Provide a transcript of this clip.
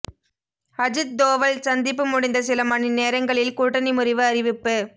அஜித் தோவல் சந்திப்பு முடிந்த சில மணி நேரங்களில் கூட்டணி முறிவு அறிவிப்பு